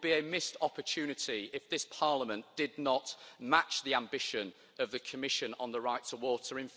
It would be a missed opportunity if this Parliament did not match the ambition of the Commission on the right to water.